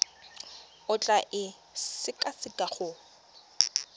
o tla e sekaseka go